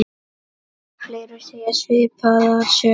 Fleiri segja svipaða sögu.